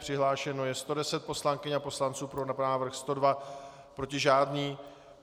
Přihlášeno je 110 poslankyň a poslanců, pro návrh 102, proti žádný.